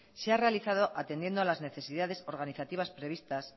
se ha realizado atendiendo a las necesidades organizativas previstas